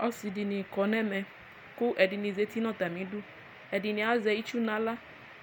Ɔsidini kɔnʋ ɛmɛ kʋ ɛdini zati nʋ atami idʋ ɛdini azɛ itsu nʋ aɣla